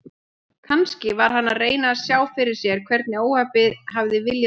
Kannski var hann að reyna að sjá fyrir sér hvernig óhappið hafði viljað til.